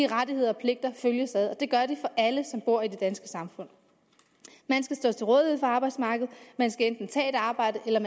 rettigheder og pligter følges ad og det gør de for alle som bor i det danske samfund man skal stå til rådighed for arbejdsmarkedet man skal enten tage et arbejde eller